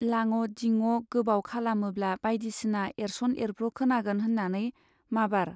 लाङ' दिङ' गोबाव खालामोब्ला बाइदिसिना एरस'न एरब्र' खोनागोन होन्नानै माबार